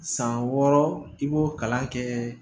San wɔɔrɔ i b'o kalan kɛ